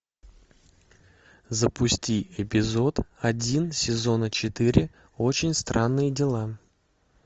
запусти эпизод один сезона четыре очень странные дела